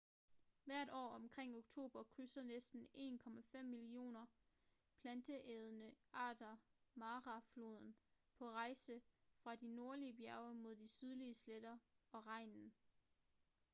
hvert år omkring oktober krydser næsten 1,5 millioner planteædende arter mara floden på rejse fra de nordlige bjerge mod de sydlige sletter og regnen